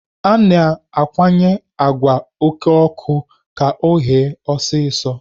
A na-akwanye àgwà oké ọkụ ka ọ ghee ọsịsọ.